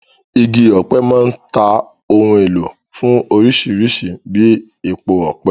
Igi ọ̀pẹ máa ń ta ohun èlò fún orísìírísìí bíi epo ọ̀pẹ.